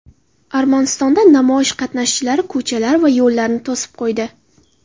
Armanistonda namoyish qatnashchilari ko‘chalar va yo‘llarni to‘sib qo‘ydi .